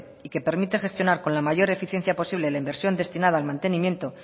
y que permite gestionar con la mayor eficiencia posible la inversión destinada al mantenimiento